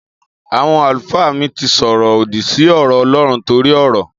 Àwon àlúfà mi tí sọrọ òdí si ọrọ ọlọrún tọri ọrọ